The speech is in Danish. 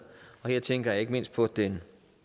og her tænker jeg ikke mindst på den